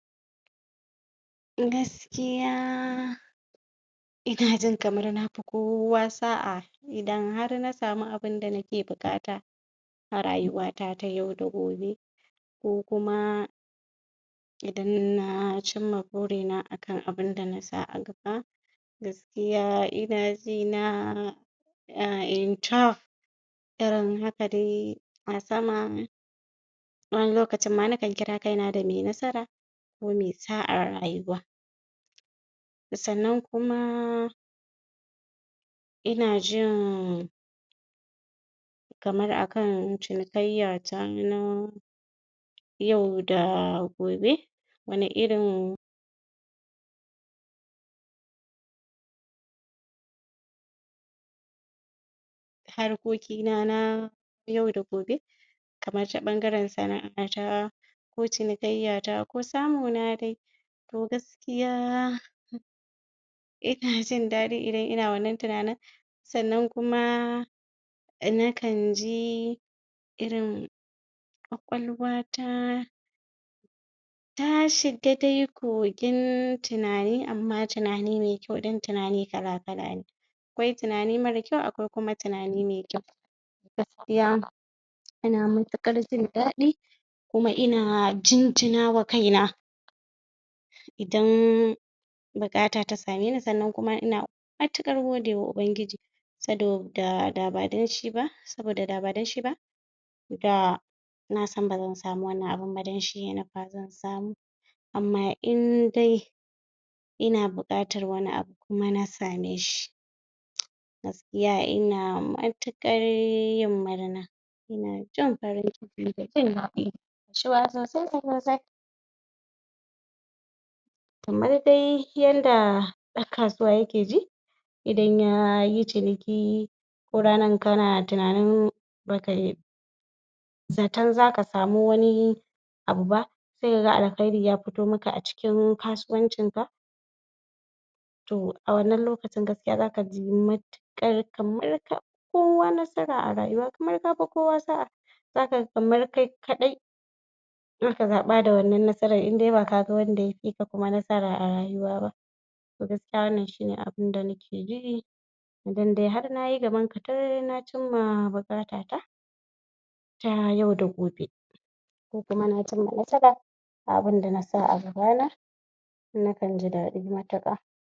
A gaskiya ina jin kamar na fi kowa sa'a idan har na samu abinda nake buƙata a rayuwa ta yau da gobe ko kuma idan na cimma burina a kan abunda na sa a gaba ina jina? irin haka dai a sama wani lokacin ma nakan kira kaina da mai nasara ko mai sa'ar rayuwa sannan kuma ina jin kamar a kan cinikayya ta na yau da gobe wani irin harkoki na na yau da gobe kamar ta ɓangaren sana'a ta to cinikayya ta ko samu na dai to gaskiya ina jin daɗi in ina wannan tunanin sannan kuma nakan ji irin ƙwaƙwalwa ta ta shiga dai kogin tunani amma tunani mai kyau don tunani kala kala ne akwai tunani mara kyau akwai kuma tunani mai kyau gaskiya ina matuƙar jin daɗi kuma ina jinjina ma kaina idan buƙata ta same ni sannan kuma ina matuƙar godewa ubangiji saboda da ba don shi ba saboda da ba don shi ba? nasan bazan samu wannan abun ba don shi ya nufa zan samu amma in dai ina buƙatar wani abu kuma na same shi gaskiya ina matuƙar yin murna Ina jin farnciki da jin daɗi? kamar dai yadda ɗan kasuwa yake ji idan yayi ciniki ko ranan kana tunanin ba kai zaton zaka samu wani abu ba sai ka ga alkahri ya fito maka daga cikin kasuwancin ka to a wannan lokacin gaskiya zaka ji matuƙar kamar ka fi kowa nasara a rayuywa kamar ka fi kowa sa'a zaka ga kamar kai kaɗai ka zaɓa da wannan nasaran in ba kaga wanda ya fi ka kuma nasara a rayuwa ba to gaskiya wannan shine abunda nake ji idan dai har nayi gamon katar na cimma buƙata at ta yau da gobe ko kuma na cimma nasara wa abunda na sa a gaba na nakan ji dadi matuƙa